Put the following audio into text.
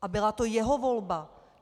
A byla to jeho volba.